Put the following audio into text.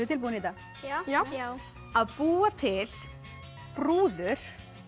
tilbúin í þetta já já já að búa til brúður